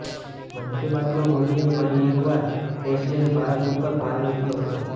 મન કી બાતમાં મોદીએ ફરી એકવાર કેશલેસ ભારત ઉપર ભાર મુક્યો હતો